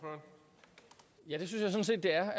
er